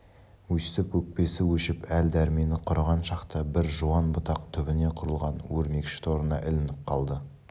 өстіп өкпесі өшіп әл-дәрмені құрыған шақта бір жуан бұтақ түбіне құрылған өрмекші торына ілініп қалды